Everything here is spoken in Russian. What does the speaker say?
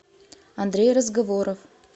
андрей разговоров